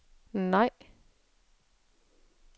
nej